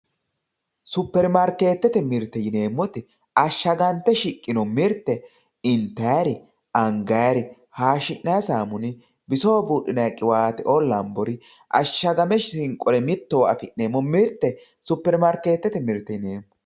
Supermarketete mirte yinemoti ashagante shiqino mirte intayiri angayari hashinayi samunni bisoho budhinayi qiwatteoo lanbori ashagame shinqori mittowa afinemo mirte supermarketete mirte yinemo